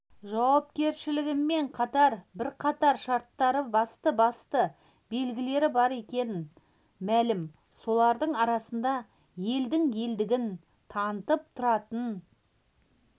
жауапкершілігімен қатар бірқатар шарттары басты-басты белгілері бар екені мәлім солардың арасында елдің елдігін танытып тұратын